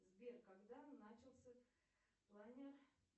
сбер когда начался планер